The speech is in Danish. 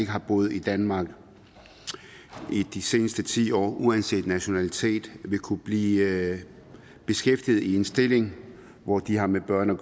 har boet i danmark i de seneste ti år uanset nationalitet vil kunne blive beskæftiget i en stilling hvor de har med børn